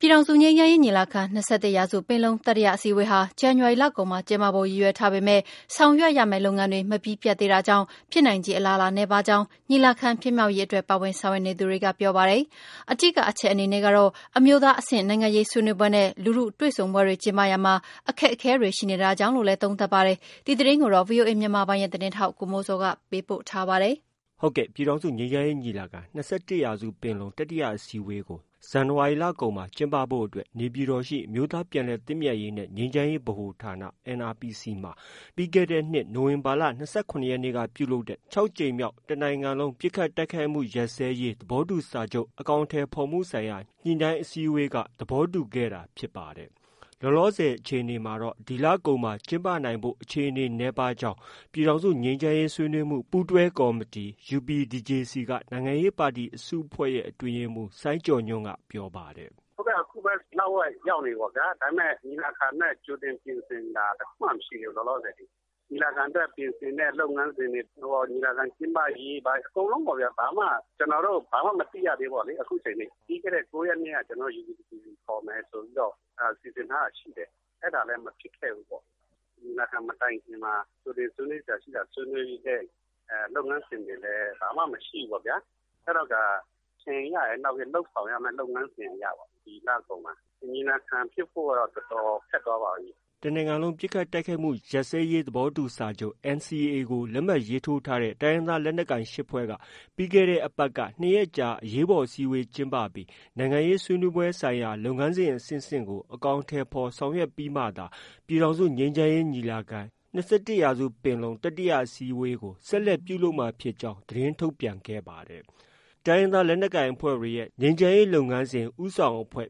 ပြည်ထောင်စုငြိမ်းချမ်းရေးညီလာခံ- ၂၁ရာစုပင်လုံတတိယအစည်းအဝေးဟာ ဇန်နဝါရီလကုန်မှာ ကျင်းပဖို့ ရည်ရွယ်ထားပေမဲ့ ဆောင်ရွက်ရမယ့် လုပ်ငန်းတွေ မပြီးပြတ်သေးတာကြောင့်ဖြစ်နိုင်ခြေအလားအလာ နည်းပါးကြောင်း ညီလာခံဖြစ်မြောက်ရေးအတွက် ပါဝင်ဆောင်ရွက်နေသူတွေက ပြောပါတယ်။ အဓိကအချက် အနေနဲ့ကတော့ အမျိုးသားအဆင့်နိုင်ငံရေးဆွေးနွေးပွဲနဲ့ လူထုတွေ့ဆုံပွဲတွေ ကျင်းပရာမှာ အခက်အခဲတွေ ရှိ နေတာကြောင့်လို့လည်း သုံးသပ်ပါတယ်။ ဒီသတင်းကိုတော့ ဗွီအိုအေမြန်မာပိုင်းရဲ့သတင်းထောက် ကိုမိုးဇော်က တင်ပြထားပါတယ်။ ပြည်ထောင်စုငြိမ်းချမ်းရေးညီလာခံ- ၂၁ရာစုပင်လုံတတိယအစည်းအဝေးဟာ ဇန်နဝါရီလကုန်မှာ ကျင်းပဖို့ အတွက် နေပြည်တော်ရှိ အမျိုးသားပြန်လည်သင့်မြတ်ရေးနှင့် ငြိမ်းချမ်းရေးဗဟိုဌာန မှာ နိုဝင်ဘာ ၂၇ ရက်ကပြုလုပ်တဲ့ တစ်နိုင်ငံလုံး ပစ်ခတ်တိုက်ခိုက်မှုရပ်စဲရေး သဘောတူစာချုပ် အကောင်အထည် ဖော်မှုဆိုင်ရာ ညှိနှိုင်းအစည်းအဝေး JICM ခြောက်ကြိမ်မြောက်အစည်းအဝေးတွင် သဘောတူညီခဲ့တာ ဖြစ်ပါ တယ်။ လောလောဆည်အခြေအနေအရ ဒီလကုန်မှာ ကျင်းပနိုင်ဖို့ အခြေအနေနည်းပါးနေကြောင်း ပြည်ထောင်စု ငြိမ်းချမ်းရေးဆွေးနွေးမှု ပူးတွဲကော်မတီ UPDJC က နိုင်ငံရေးပါတီအစုအဖွဲ့ရဲ့ အတွင်းရေးမှုး စိုင်းကျော်ညွှန့် ပြောပါတယ်။ “ အခုပဲ လဝက်ရောက်နေပြီပေါ့ဗျာ။ ဒါပေမဲ့ ညီလာခံအတွက် ကြိုတင်ပြင်ဆင်တာတခုမှ မရှိသေးဘူး။ လောလောဆည်အထိ။ ညီလာခံအတွက် ပြင်ဆင်တဲ့ လုပ်ငန်းစဉ်တွေ၊ ညီလာခံကျင်းပရေး အကုန်လုံးပေါ့ဗျာ။ ဘာမှ ကျနော်တို့ ဘာမှ မသိရသေးဘူးပေါ့ဗျာ။ အခုချိန်ထိ။ ပြီးခဲ့တဲ့ ၉ရက်နေ့က ကျနော်တို့ UPDJC ခေါ်မယ် ဆိုပြီးတော့ စီစဉ်ထားတာရှိတယ်။ အဲဒါလည်း မဖြစ်ခဲ့ဘူးပေါ့။ ညီလာခံမတိုင်ခင်မှာ ကြိုတင်ဆွေးနွေးစရာရှိတာ ဆွေးနွေးတဲ့ လုပ်ငန်းစဉ်တွေလည်း ဘာမှ မရှိခဲ့ဘူးပေါ့ဗျာ။ အဲတော့ကာ လုပ်ဆောင်ရမယ့် လုပ်ငန်းစဉ်အရပေါ့။ ဒီလကုန်မှာ ညီလာခံဖြစ်ဖို့က တော်တော် ခက်သွားပါပြီ။” တနိုင်ငံလုံးပစ်ခတ်တိုက်ခိုက်မှုရပ်စဲရေးသဘောတူစာချုပ် NCA ကို လက်မှတ်ရေးထိုးထားတဲ့ တိုင်းရင်းသား လက်နက်ကိုင်အဖွဲ့ ၈ဖွဲ့က ပြီးတဲ့အပတ်က ၂ရက်ကြာ အရေးပေါ်အစည်းအဝေးကျင်းပပြီး နိုင်ငံရေးဆွေးနွေးပွဲ ဆိုင်ရာလုပ်ငန်းစဉ်အဆင့်ဆင့်ကို အကောင်အထည်ဖော်ဆောင်ရွက်ပြီးမှသာ ပြည်ထောင်စုငြိမ်းချမ်းရေး ညီလာ ခံ-၂၁ရာစုပင်လုံ တတိယအစည်းအဝေးကို ဆက်လက်ပြုလုပ်မှာဖြစ်ကြောင်း သတင်းထုတ်ပြန် ခဲ့ပါတယ်။ တိုင်းရင်းသားလက်နက်ကိုင်အဖွဲ့တွေရဲ့ ငြိမ်းချမ်းရေးလုပ်ငန်းစဉ် ဦးဆောင်အဖွဲ့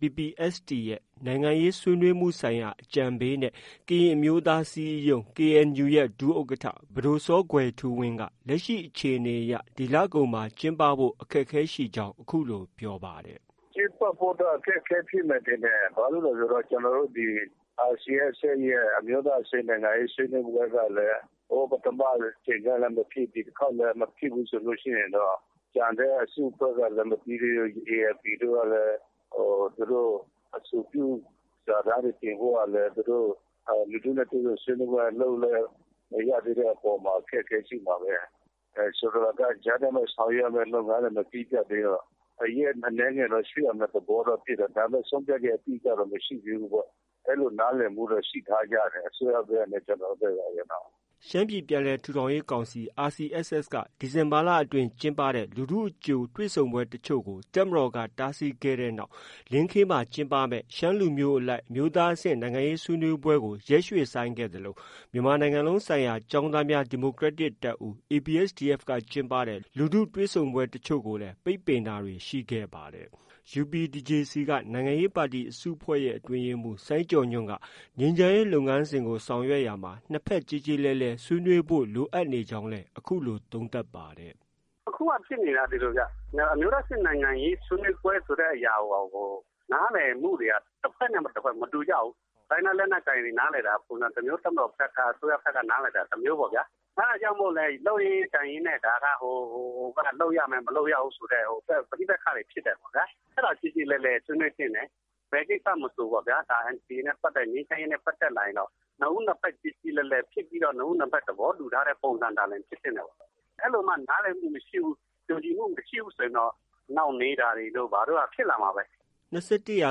PPST ရဲ့ နိုင်ငံရေး ဆွေးနွေးမှု ဆိုင်ရာ အကြံပေးနဲ့ ကရင်အမျိုးသားအစည်းအရုံး KNU ရဲ့ ဒုဥက္ကဌ ပဒိုစောကွယ်ထူးဝင်းကလည်း လက်ရှိ အခြေအနေအရ ဒီလကုန်မှာကျင်းပဖို့ ခက်ခဲကြောင်း အခုလို ပြောပါတယ်။ “ ကျင်းပဖို့ကတော့ အခက်အခဲရှိမယ်ထင်တယ်။ ဘာလို့လည်းဆိုတော့ ကျနော်တို့ ဒီ RCSSရဲ့ အမျိုးသား အဆင့် နိုင်ငံရေးဆွေးနွေးပွဲကလည်း ပထမအကြိမ်တုံးကလည်းမဖြစ် ဒီတခေါက်လည်း မဖြစ်ဆို တော့။ ကျန်တဲ့ အစုအဖွဲ့ကလည်း မပြီးသေးဘူး။ ALP တို့ကလည်း သူတို့ အဆိုပြုစာတမ်းတွေတင်ဖို့ကလည်း သူတို့ လူထုနဲ့ တွေ့ဆုံဆွေးနွေးပွဲလုပ်လည်း မရသေးတဲ့အပေါ်မှာ အခက်အခဲရှိမှာပဲ။ ဆိုလိုတာက ကြားထဲမှာ ဆောင်ရွက်ရမယ့်လုပ်ငန်းတွေ မပြီးပြတ်သေးတော့ ရက်အနည်းငယ်တော့ ရွှေ့ရမယ့်သဘောတော့ ရှိတယ်။ ဒါပေမဲ့ ဆုံးဖြတ်ချက်အတိအကျတော့ မရှိသေးဘူးပေါ့။ အဲလိုနားလည်မှုတော့ ရှိထားကြတယ်။ အစိုးရဖက်နဲ့ ကျနော်တို့ ဖက်ပေါ့။ ” ရှမ်းပြည်ပြန်လည်ထူထောင်ရေးကောင်စီ RCSS က ဒီဇင်ဘာလအတွင်း ကျင်းပတဲ့လူထုအကြို တွေ့ဆုံပွဲတွေ ကို တပ်မတော်က တားဆီးခဲ့တဲ့နောက် လင်းခေးမှာ ကျင်းပမယ့် ရှမ်းလူမျိုးအလိုက် အမျိုးသားအဆင့် နိုင်ငံရေးဆွေးနွေးပွဲကို ရွှေ့ဆိုင်းခဲ့သလို မြန်မာနိုင်ငံလုံးဆိုင်ရာ ကျောင်းသားများဒီမိုကရက်တစ်တပ်ဦး ABSDF က ကျင်းပတဲ့ လူထုတွေ့ဆုံပွဲတွေကိုလည်း ပိတ်ပင်ခံခဲ့ရပါတယ်။ UPDJC က နိုင်ငံရေးပါတီအစုအဖွဲ့ရဲ့ အတွင်းရေးမှုး စိုင်းကျော်ညွှန့်က နှစ်ဖက်ကျေကျေလည်လည်ဆွေးနွေးဖို့ လိုအပ်နေကြောင်းလည်း အခုလို သုံးသပ်ပါတယ်။ “ အခုက ဖြစ်နေတာက ဒီလိုဗျ။ အမျိုးသားအဆင့် နိုင်ငံရေးဆွေးနွေးပွဲဆိုတဲ့ဟာကို နားလည်မှုတွေက တဖက်နဲ့ တဖက် မတူကြဘူး။ တိုင်းရင်းသားလက်နက်ကိုင်တွေက နားလည်တာက ပုံစံတမျိုး၊ အစိုးရ၊ တပ်မတော်ဖက် က နားလည်တာက ပုံစံတမျိုး။ အဲဒါကြောင့်မို့လည်း လုပ်ရင်းကိုင်ရင်းနဲ့ လုပ်ရမယ်၊ မလုပ်ရဘူးဆိုတဲ့ ပဋိပက္ခတွေ ဖြစ်တာပေါ့ဗျာ။ အဲဒါ ကျေကျေလည်လည်ဆွေးနွေးသင့်တယ်။ ဘယ်ကိစ္စမဆိုပေါ့ဗျာ။ NCA နဲ့ ပတ်သက် လာရင် ငြိမ်းချမ်းရေးနဲ့ပတ်သက်လာရင် နှစ်ဦးနှစ်ဖက် ကျေကျေလည်လည်ဖြစ်ပြီးတော့ နှစ်ဦး နှစ်ဖက် သဘောတူထားတဲ့ ပုံစံသာလျှင်ဖြစ်သင့်တာပေါ့။ အဲလိုမှ နားလည်မှုမရှိဘူး။ ကျေလည်မှုမရှိဘူးဆိုရင် နှောင့်နှေးတာတို့ ဘာတို့က ဖြစ်လာမှာပဲ။ ” ၂၁ရာ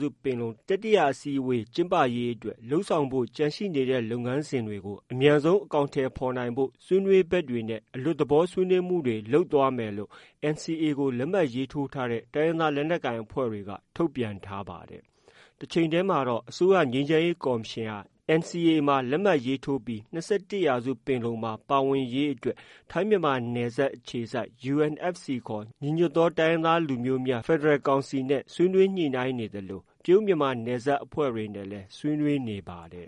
စုပင်လုံ တတိယအကြိမ်အစည်းအဝေးကျင်းပရေးအတွက် လုပ်ဆောင်ဖို့ ကျန်နေတဲ့လုပ်ငန်းစဉ်တွေကို အမြန်ဆုံး အကောင်အထည်ဖော်နိုင်ဖို့ ဆွေးနွေးဘက်တွေနဲ့ အလွတ်သဘောဆွေးနွေးမှုတွေ လုပ်သွားမယ်လို့ NCA လက်မှတ်ထိုးထားတဲ့ တိုင်းရင်းသား လက်နက်ကိုင်အဖွဲ့တွေက ထုတ်ပြန်ထားပါတယ်။ တချိန်တည်းမှာတော့ အစိုးရ ငြိမ်းချမ်းရေးကော်မရှင်ဟာ NCAမှာ ပါဝင်လက်မှတ်ရေးထိုးပြီး ၂၁ပင်လုံမှာ ပါဝင် ရေးအတွက်ထိုင်းမြန်မာနယ်စပ်အခြေစိုက် UNFC ခေါ် ညီညွတ်သော တိုင်းရင်းသား လူမျိုးများ ဖက်ဒရယ် ကောင်စီ ဆွေးနွေးညှိနှိုင်းနေသလို တရုတ်မြန်မာနယ်စပ်ခြေစိုက်အဖွဲ့တွေနဲ့လည်း ဆွေးနွေး နေပါတယ်